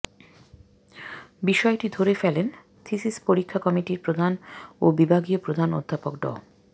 বিষয়টি ধরে ফেলেন থিসিস পরীক্ষা কমিটির প্রধান ও বিভাগীয় প্রধান অধ্যাপক ড